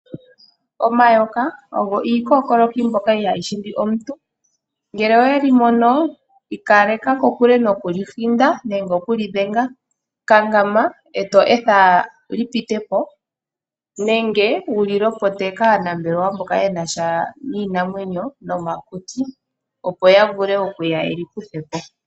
Omayoka ogo iikookoloki mbyoka ihayi hindi omuntu. Ngele owe li mono i kaleka kokule nokuli hinda nenge okuli dhenga. Kankama e to etha li pite po nenge wu li lopote kaanambelewa mboka ye na sha niinamwenyo nomakuti, opo ya vule okuya ye li kuthe po.